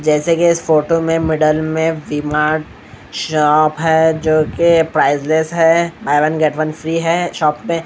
जैसे की इस फोटो में मिडल में वी_मार्ट शॉप है जो की प्राइसलेस है buy one get one free है शॉप में--